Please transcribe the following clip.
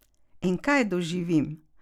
In kaj doživim?